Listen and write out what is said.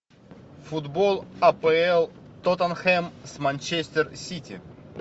футбол апл тоттенхэм с манчестер сити